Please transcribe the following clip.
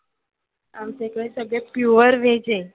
आमच्या कडे सगळे pure veg आहे.